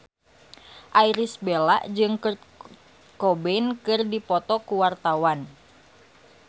Irish Bella jeung Kurt Cobain keur dipoto ku wartawan